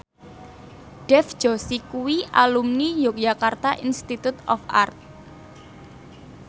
Dev Joshi kuwi alumni Yogyakarta Institute of Art